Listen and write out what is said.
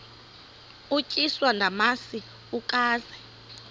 utyiswa namasi ukaze